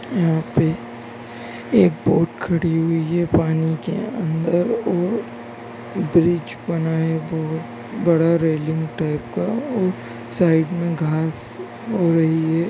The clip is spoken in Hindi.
यहाँ पे एक बोट खड़ी हुई है पानी के अंदर और ब्रिज बना है बहोत बड़ा रैलिंग टाइप का और साइड में घास हो रही है।